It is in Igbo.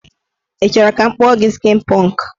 Ị chọrọ ka m kpụọ skin pọnk?